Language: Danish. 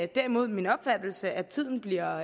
derimod min opfattelse at tiden bliver